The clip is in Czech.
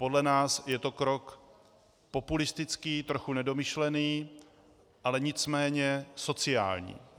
Podle nás je to krok populistický, trochu nedomyšlený, ale nicméně sociální.